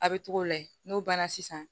A bɛ togo layɛ n'o banna sisan